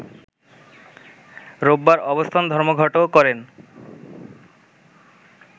রোববার অবস্থান ধর্মঘটও করেন